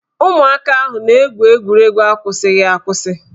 Ụmụaka ahụ na-egwu egwuregwu akwụsịghị akwụsị